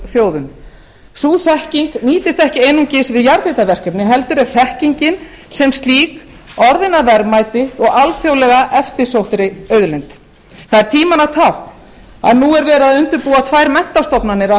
þjóðum sú þekking nýtist ekki einungis við jarðhitaverkefni heldur er þekkingin sem slík orðin að verðmæti og alþjóðlega eftirsóttri auðlind það er tímanna tákn að nú er verið að undirbúa tvær menntastofnanir á